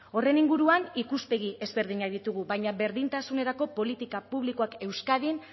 horren inguruan ikuspegi ezberdinak ditugu baina berdintasunerako politika publikoak euskadin